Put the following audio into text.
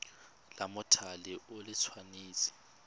la mothale o le tshwanetse